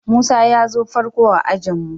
Musa ya zo farko a'ajin mu.